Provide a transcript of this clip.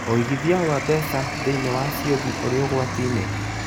ũigithia wa mbeca thĩiniĩ wa ciũthi ũrĩ ũgwati-inĩ?